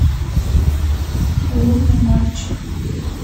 лунный мальчик